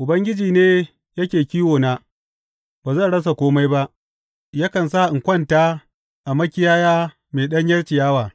Ubangiji ne yake kiwona, ba zan rasa kome ba, Yakan sa in kwanta a makiyaya mai ɗanyar ciyawa,